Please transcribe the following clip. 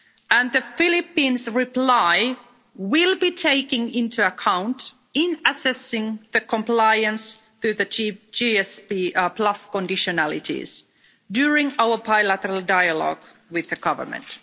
and the Philippines' reply will be taken into account in assessing compliance through the chief GSP conditionalities during our bilateral dialogue with the Government.